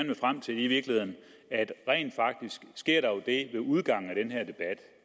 vil frem til er i virkeligheden at der rent faktisk sker det ved udgangen